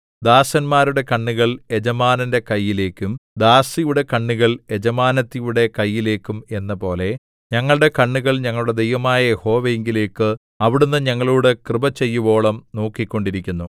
ദാസന്മാരുടെ കണ്ണുകൾ യജമാനന്റെ കൈയിലേക്കും ദാസിയുടെ കണ്ണുകൾ യജമാനത്തിയുടെ കൈയിലേക്കും എന്നപോലെ ഞങ്ങളുടെ കണ്ണുകൾ ഞങ്ങളുടെ ദൈവമായ യഹോവയിങ്കലേക്ക് അവിടുന്ന് ഞങ്ങളോട് കൃപചെയ്യുവോളം നോക്കിക്കൊണ്ടിരിക്കുന്നു